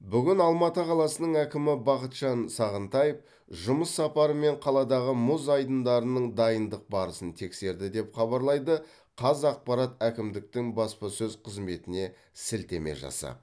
бүгін алматы қаласының әкімі бақытжан сағынтаев жұмыс сапарымен қаладағы мұз айдындарының дайындық барысын тексерді деп хабарлайды қазақпарат әкімдіктің баспасөз қызметіне сілтеме жасап